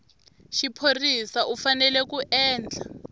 xiphorisa u fanele ku endla